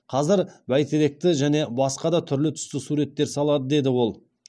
қазір бәйтеректі және басқа да түрлі түсті суреттер салады деді ол